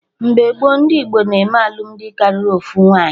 Mgbe gboo, ndị Igbo na-eme alụmdi karịa ofu nwaanyị